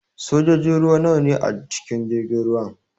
Sojojin ruwa nawa ne a cikin jirgin ruwan?